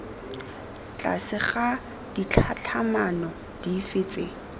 tlase ga ditlhatlhamano dife tse